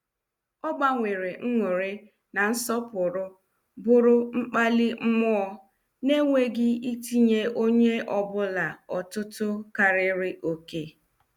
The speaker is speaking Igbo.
Ọ gbanwere nnuri na nsọpụrụ bụrụ mkpali mụọ, na- enweghị itinye onye ọ bụla ọtụtụ karịrị oké.